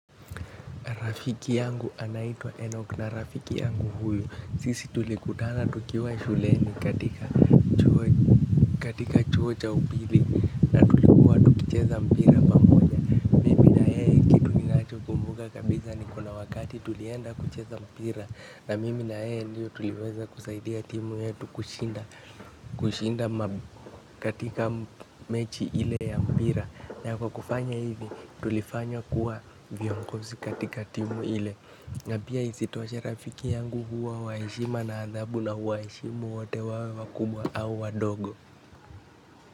Rafiki yangu anaitwa enok na rafiki yangu huyu. Sisi tulikutana tukiwa shuleni katika chuo cha upili. Na tulikuwa tukicheza mpira pamoja mimi na yeye kitu ninacho kumbuka kabisa ni kuna wakati tulienda kucheza mpira. Na mimi na yeye ndio tuliweza kusaidia timu yetu kushinda katika mechi ile ya mpira. Na kwa kufanya hivi tulifanywa kuwa viongozi katika timu ile. Napia isitoshe rafiki yangu huwa wa heshima na adabu na huwa heshimu wote wawe wakubwa au wadogo.